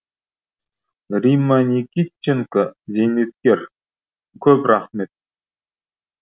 римма никитченко зейнеткер көп рахмет